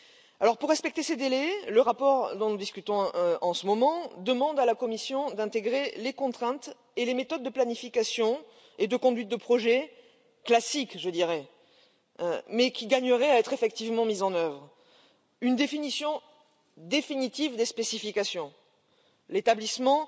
Alors pour respecter ces délais, le rapport dont nous discutons en ce moment demande à la Commission d'intégrer les contraintes et les méthodes de planification et de conduite de projets classiques je dirais mais qui gagneraient à être effectivement mises en œuvre une définition définitive des spécifications, l'établissement